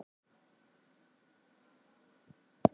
Nú er kátt í koti hjá